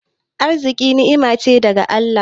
Arziƙi ni'ima ce daga Allah.